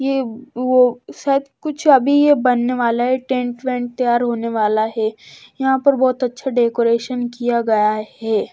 ये वो शायद कुछ अभी ये बनने वाला है टेंट वेंट तैयार होने वाला है यहां पर बहुत अच्छा डेकोरेशन किया गया है ये।